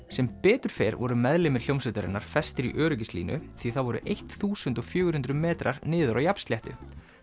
sem betur fer voru meðlimir hljómsveitarinnar festir í öryggislínur því það voru eitt þúsund og fjögur hundruð metrar niður á jafnsléttu